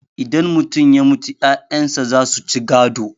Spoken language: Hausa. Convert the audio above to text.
idan mutum ya mutu 'ya'yansa za su ci gado